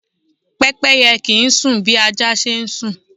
Pẹ́pẹ́yẹ kì ń sún bí ajá ṣe ń sùn.